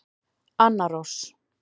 Anna Rós.